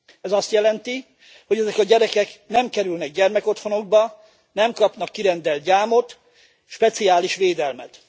Ez azt jelenti, hogy ezek a gyerekek nem kerülnek gyermekotthonokba, nem kapnak kirendelt gyámot, speciális védelmet.